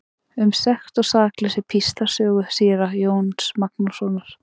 Um sekt og sakleysi í Píslarsögu síra Jóns Magnússonar.